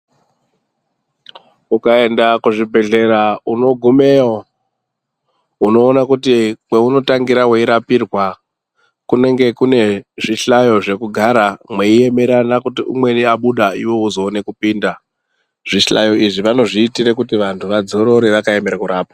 Ukaenda kuzvibhedhlera unogumeyo unoona kuti kweunotangira weirapirwa kunenge kuine zvihlayo zvekugara mweiemerana kuti umwei wabuda iwewe wozoone kupinda. Zvihlayo izvi vanozviitire kuti vantu vazororore vakaemera kurapwa .